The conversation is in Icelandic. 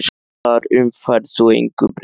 Þar um færð þú engu breytt.